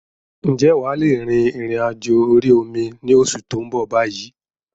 Ǹjẹ́ wà lè rìn-ìrìn àjò orí omi ni oṣù tó ń bọ̀ bayyi?